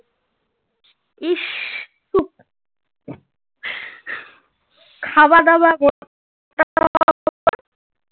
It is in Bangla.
খাওয়া দাওয়া